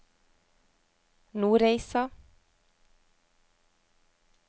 Nordreisa